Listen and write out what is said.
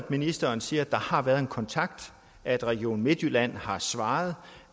at ministeren siger at der har været en kontakt at region midtjylland har svaret